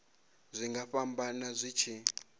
zwi nga fhambana zwi tshi